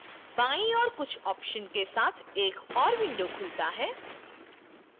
बाईं ओर कुछ options के साथ एक और window खुलता है